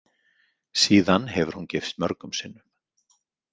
Síðan hefur hún gifst mörgum sinnum.